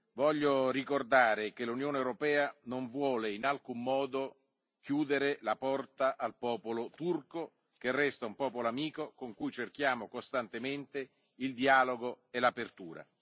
Voglio ricordare che l'Unione europea non vuole in alcun modo chiudere la porta al popolo turco, che resta un popolo amico con cui cerchiamo costantemente il dialogo e l'apertura.